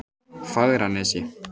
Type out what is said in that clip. Fagranesi